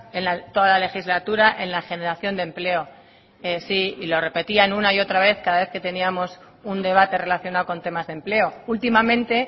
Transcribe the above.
en toda la legislatura en la generación de empleo sí y lo repetían una y otra vez cada vez que teníamos un debate relacionado con temas de empleo últimamente